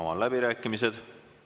Avan läbirääkimised.